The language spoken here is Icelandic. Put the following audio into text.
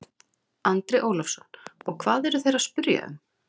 Andri Ólafsson: Og hvað eru þeir að spyrja um?